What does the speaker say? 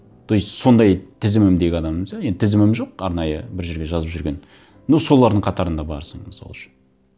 то есть сондай тізімімдегі адамымыз иә енді тізімім жоқ арнайы бір жерге жазып жүрген но солардың қатарында барсың мысал үшін